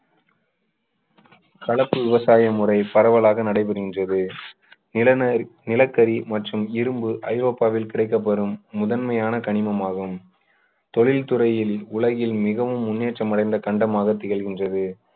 கலப்பு விவசாயம் முறை பரவலாக நடைபெறுகின்றது நிலந~ நிலக்கரி மற்றும் இரும்பு ஐரோப்பாவில் கிடைக்க பெறும் முதன்மையான கனிமம் ஆகும் தொழில்துறையில் உலகில் மிகவும் முன்னேற்றம் அடைந்த கண்டமாக திகழ்கிறது